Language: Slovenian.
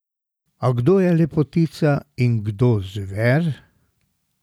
A kdo je lepotica in kdo zver?